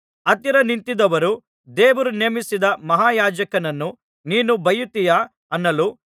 ಹತ್ತಿರ ನಿಂತಿದ್ದವರು ದೇವರು ನೇಮಿಸಿದ ಮಹಾಯಾಜಕನನ್ನು ನೀನು ಬೈಯುತ್ತೀಯಾ ಅನ್ನಲು